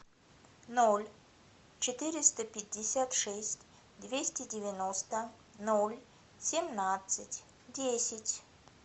ноль четыреста пятьдесят шесть двести девяносто ноль семнадцать десять